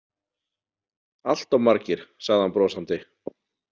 Allt of margir, sagði hann brosandi.